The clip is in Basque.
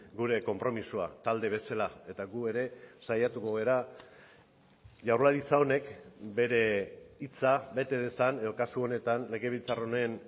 litzateke gure konpromisoa talde eta gu ere saiatuko gara jaurlaritza honek bere hitza bete dezan edo kasu honetan legebiltzar honen